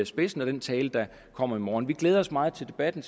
spidsen og den tale der kommer i morgen vi glæder os meget til debatten